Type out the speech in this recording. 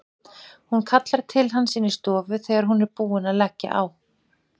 Hún kallar til hans inn í stofu þegar hún er búin að leggja á.